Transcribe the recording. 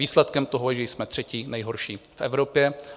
Výsledkem toho je, že jsme třetí nejhorší v Evropě.